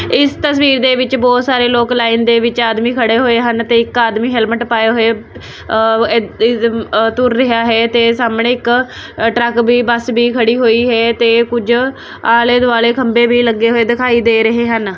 ਇਸ ਤਸਵੀਰ ਦੇ ਵਿੱਚ ਬਹੁਤ ਸਾਰੇ ਲੋਕ ਲਾਈਨ ਦੇ ਵਿੱਚ ਆਦਮੀ ਖੜੇ ਹੋਏ ਹਨ ਤੇ ਇੱਕ ਆਦਮੀ ਹੈਲਮਟ ਪਾਏ ਹੋਏ ਅ ਤੁਰ ਰਿਹਾ ਹੈ ਤੇ ਸਾਹਮਣੇ ਇੱਕ ਅ ਟਰੱਕ ਭੀ ਬੱਸ ਭੀ ਖੜੀ ਹੋਈ ਹੈ ਤੇ ਕੁਝ ਆਲੇ ਦੁਆਲੇ ਖੰਬੇ ਵੀ ਲੱਗੇ ਹੋਏ ਦਿਖਾਈ ਦੇ ਰਹੇ ਹਨ।